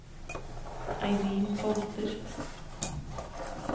Eirin Holter